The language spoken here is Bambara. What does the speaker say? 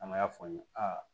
An m'a fɔ aa